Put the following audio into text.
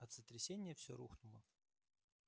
от сотрясения все рухнуло